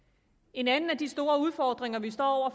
en anden af de store udfordringer vi står over